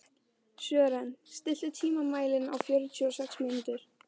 Sören, stilltu tímamælinn á fjörutíu og sex mínútur.